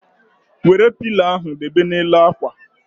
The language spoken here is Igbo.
Wéré pilo ahụ debe na n'elu ákwà